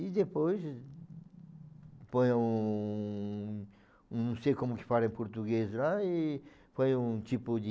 E depois põe um um... não sei como que fala em português lá e põe um tipo de...